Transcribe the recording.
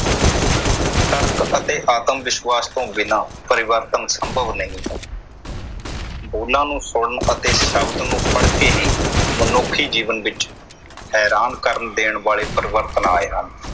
ਤਰਕ ਅਤੇ ਆਤਮ ਵਿਸ਼ਵਾਸ ਤੋਂ ਬਿਨਾਂ ਪਰਿਵਰਤਨ ਸੰਭਵ ਨਹੀਂ ਹੈ। ਬੋਲਾਂ ਨੂੰ ਸੁਣ ਅਤੇ ਸ਼ਬਦ ਨੂੰ ਪੜ ਕੇ ਹੀ ਮਨੁੱਖੀ ਜੀਵਨ ਵਿਚ ਹੈਰਾਨ ਕਰਨ ਦੇਣ ਵਾਲੇ ਪਰਿਵਰਤਨ ਆਏ ਹਨ।